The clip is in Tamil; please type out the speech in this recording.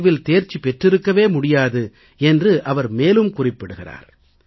தேர்வில் தேர்ச்சி பெற்றிருக்கவே முடியாது என்று அவர் மேலும் குறிப்பிட்டிருக்கிறார்